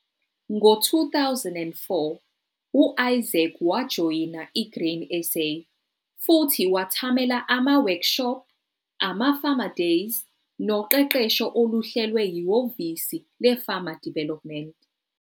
Ngo-2004 u-Isaac wajoyina i-Grain SA futhi wethamela ama-workshop, ama-farmer days noqeqesho oluhlelwe yihhovisi le-Farmer Development.